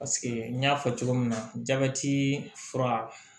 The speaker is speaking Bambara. Paseke n y'a fɔ cogo min na jabɛti fura